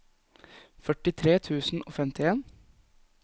førtitre tusen og femtien